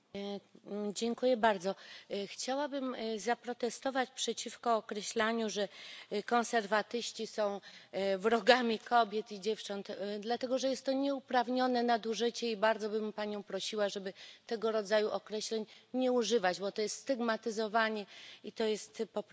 Chciałabym zaprotestować przeciwko określaniu, że konserwatyści są wrogami kobiet i dziewcząt, dlatego że jest to nieuprawnione nadużycie, i bardzo bym Panią prosiła, żeby tego rodzaju określeń nie używać, bo to jest stygmatyzowanie i to jest po prostu zwyczajnie nieprawda.